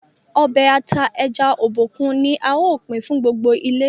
Ọbẹ̀ ata ẹja Obokun ní ào pin fún gbogbo ilé.